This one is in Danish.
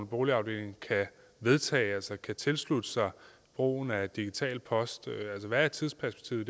boligafdeling kan vedtage altså kan tilslutte sig brugen af digital post altså hvad er tidsperspektivet